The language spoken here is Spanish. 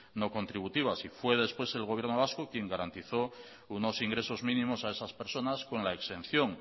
no contributivas y fue después el gobierno vasco quien garantizó unos ingresos mínimos a esas personas con la exención